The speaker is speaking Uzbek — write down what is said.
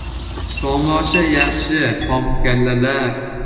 - Tomosha yaxshi, xomkallalar.